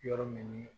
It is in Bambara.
Yɔrɔ min ni